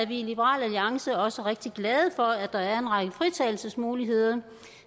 vi i liberal alliance også rigtig glade for at der er en række fritagelsesmuligheder